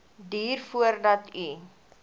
duur voordat u